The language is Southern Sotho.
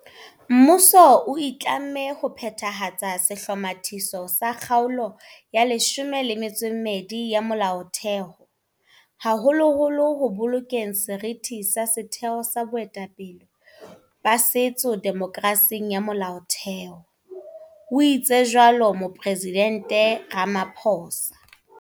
"Mmuso o itlamme ho phethahatsa sehlomathiso sa Kgaolo ya 12 ya Molaothe ho, haholoholo ho bolokeng seriti sa setheo sa boetapele ba setso demokerasing ya Molaotheho," o itse jwalo Moporesidente Ramaphosa.